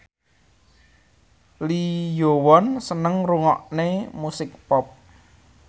Lee Yo Won seneng ngrungokne musik pop